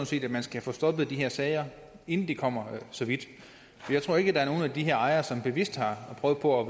set at man skal få stoppet de her sager inden det kommer så vidt jeg tror ikke at der er nogen af de her ejere som bevidst har prøvet på